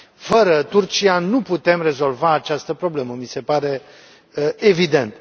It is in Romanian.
Fără Turcia nu putem rezolva această problemă, mi se pare evident.